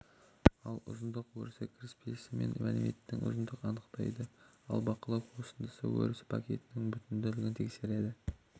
ал ұзындық өрісі кіріспесі мен мәліметтің ұзындығын анықтайды ал бақылау қосындысы өрісі пакеттің бүтінділігін тексереді